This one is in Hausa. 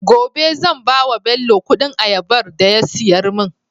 gobe zan bawa bello Ƙudin ayabar da ya siyar mun